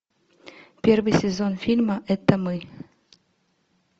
первый сезон фильма это мы